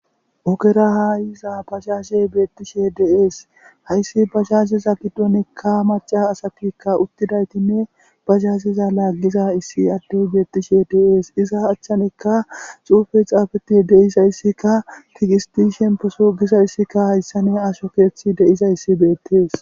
ogera haayiza bazashe beettishe dees hayssi bahazeza giddonikka maca asatikka uttidaytinne bazazeza laaggiza issi addeh beettishe dees iza achchanikka xuufe xaafeti deizayssikka kigisti shemposu giza yssikka hayssane asho keeththi deiza yssi beettes